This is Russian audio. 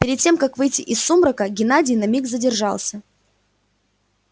перед тем как выйти из сумрака геннадий на миг задержался